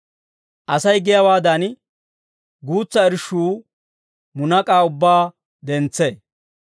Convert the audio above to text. Asay giyaawaadan, guutsa irshshuu munak'aa ubbaa dentsee.